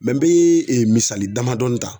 n be misali damadɔ dɔɔni ta